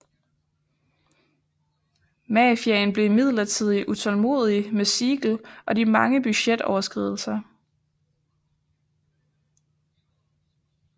Mafiaen blev imidlertid utålmodig med Siegel og de mange budgetoverskridelser